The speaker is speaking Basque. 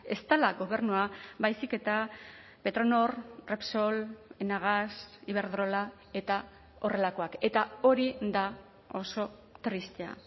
ez dela gobernua baizik eta petronor repsol enagas iberdrola eta horrelakoak eta hori da oso tristea